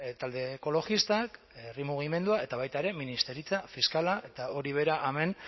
talde ekologistak herri mugimenduak eta baita ere ministeritza fiskala eta hori bera hemen